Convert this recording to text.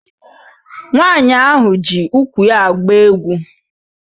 Nwaanyị ahụ ji úkwù ya agba egwu.